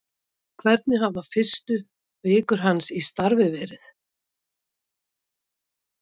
Hvernig hafa fyrstu vikur hans í starfi verið?